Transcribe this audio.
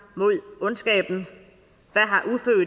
mod ondskaben